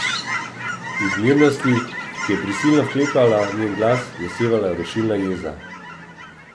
Iz mirnosti, ki je prisilno vklepala njen glas, je sevala rušilna jeza.